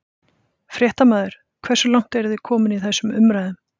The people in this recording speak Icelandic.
Fréttamaður: Hversu langt eru þið komin í þessum umræðum?